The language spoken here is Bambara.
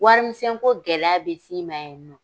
Warimisɛnko gɛlɛya bɛ s'i ma yen nɔ.